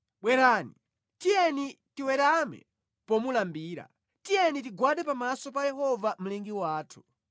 Bwerani, tiyeni tiwerame pomulambira, tiyeni tigwade pamaso pa Yehova Mlengi wathu;